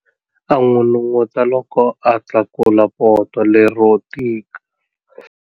A n'unun'uta loko a tlakula poto lero tika.